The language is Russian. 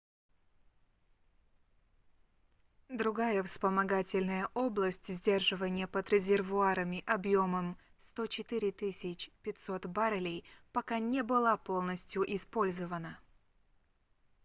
другая вспомогательная область сдерживания под резервуарами объемом 104 500 баррелей пока не была полностью использована